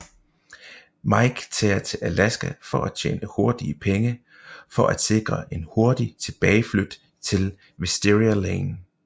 Mike tager til Alaska for at tjene hurtige penge for at sikre en hurtig tilbageflyt til Wisteria Lane